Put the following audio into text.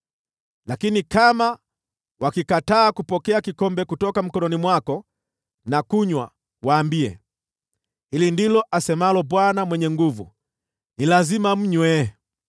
Lakini kama wakikataa kupokea kikombe kutoka mikononi mwako na kunywa, waambie, ‘Hili ndilo asemalo Bwana Mwenye Nguvu Zote: Ni lazima mnywe!